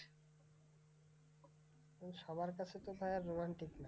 কিন্তু সবার কাছে তো ভায়া romantic না?